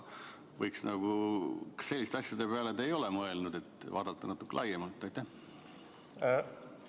Kas te selliste asjade peale ei ole mõelnud, et vaadata natuke laiemalt?